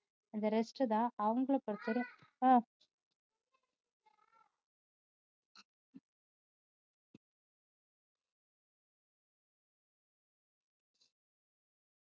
அந்த rest தான் அவங்களை பொறுத்த வரையும்